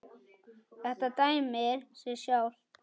Þetta dæmir sig sjálft.